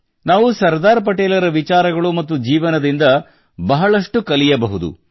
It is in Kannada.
ನಾವು ಸರ್ದಾರ್ ಪಟೇಲರ ವಿಚಾರಗಳು ಮತ್ತು ಜೀವನದಿಂದ ಬಹಳಷ್ಟು ಕಲಿಯಬಹುದು